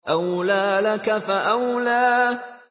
أَوْلَىٰ لَكَ فَأَوْلَىٰ